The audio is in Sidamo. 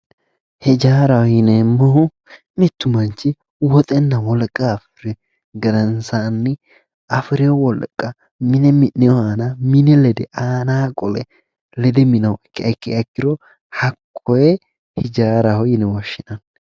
Hijaaraho yineemmohu mitu manchi woxenna wolqa fushirihu gedensanni afiri wolqa mine mi'nehu aana mine lede aanani lede minannoha ikkiha ikkiro hakkoe hijaaraho yinne woshshinanni.